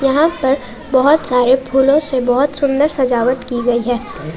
यहां पर बहुत सारे फूलों से बहुत सुंदर सजावट की गई है।